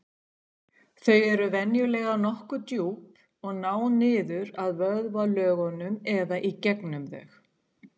Þau eru venjulega nokkuð djúp og ná niður að vöðvalögunum eða í gegnum þau.